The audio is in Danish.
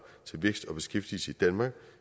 til vækst og beskæftigelse i danmark